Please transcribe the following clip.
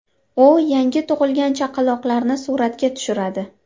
U yangi tug‘ilgan chaqaloqlarni suratga tushiradi.